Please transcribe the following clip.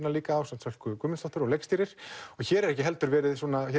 líka ásamt Sölku Guðmundsdóttur og leikstýrir og hér er ekki heldur verið